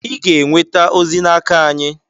Ị ga-enweta ozi n'aka anyị